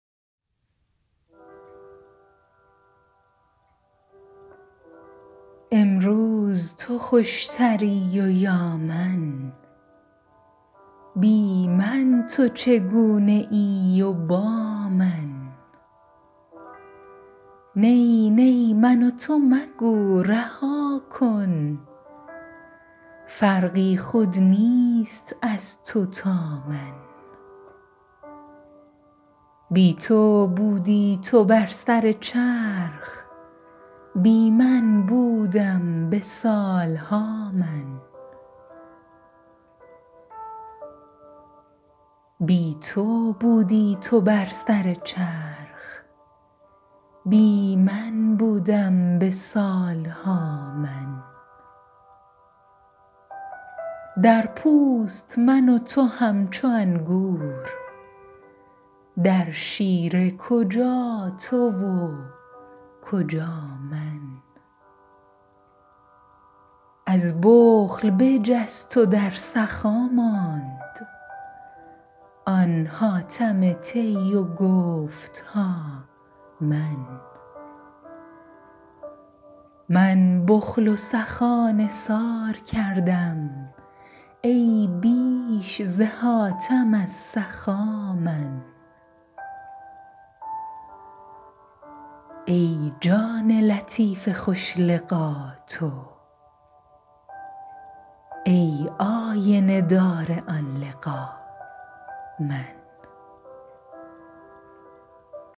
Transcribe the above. امروز تو خوشتری و یا من بی من تو چگونه ای و با من نی نی من و تو مگو رها کن فرقی خود نیست از تو تا من بی تو بودی تو بر سر چرخ بی من بودم به سال ها من در پوست من و تو همچو انگور در شیره کجا تو و کجا من از بخل بجست و در سخا ماند آن حاتم طی و گفت ها من من بخل و سخا نثار کردم ای بیش ز حاتم از سخا من ای جان لطیف خوش لقا تو ای آینه دار آن لقا من